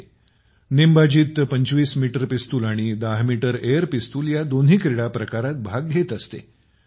नेमबाजीत २५ metre pistol आणि १० metre air pistol दोन्ही क्रीडाप्रकारात भाग घेत असते